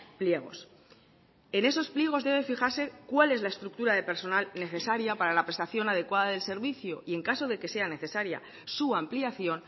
pliegos en esos pliegos debe fijarse cuál es la estructura de personal necesaria para la prestación adecuada del servicio y en caso de que sea necesaria su ampliación